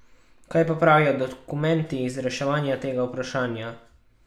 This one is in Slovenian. Kaj pa pravijo dokumenti iz reševanja tega vprašanja?